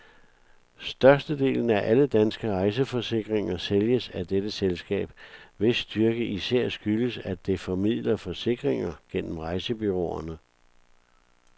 Størstedelen af alle danske rejseforsikringer sælges af dette selskab, hvis styrke især skyldes, at det formidler forsikringer gennem rejsebureauerne.